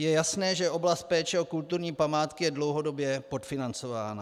Je jasné, že oblast péče o kulturní památky je dlouhodobě podfinancována.